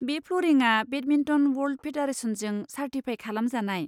बे फ्ल'रिङा badminton world फेडारेशनजों सार्टिफाय खालामजानाय।